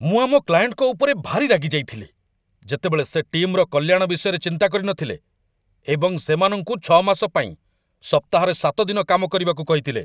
ମୁଁ ଆମ କ୍ଲାଏଣ୍ଟଙ୍କ ଉପରେ ଭାରି ରାଗିଯାଇଥିଲି, ଯେତେବେଳେ ସେ ଟିମ୍‌ର କଲ୍ୟାଣ ବିଷୟରେ ଚିନ୍ତା କରିନଥିଲେ ଏବଂ ସେମାନଙ୍କୁ ୬ ମାସ ପାଇଁ ସପ୍ତାହରେ ୭ ଦିନ କାମ କରିବାକୁ କହିଥିଲେ।